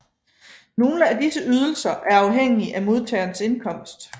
Nogle af disse ydelser er afhængige af modtagerens indkomst